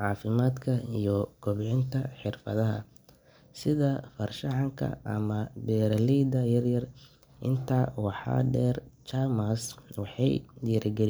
cafimaadka iyo wax barashada, sida far shaxanka iyo beeraleyda yaryar.